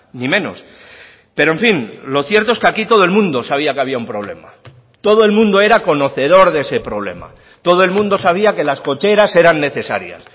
ni menos pero en fin lo cierto es que aquí todo el mundo sabía que había un problema todo el mundo era conocedor de ese problema todo el mundo sabía que las cocheras eran necesarias